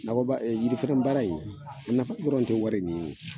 Nakɔ ba yiri feren baara in a nafa dɔrɔn tɛ wari in ye o.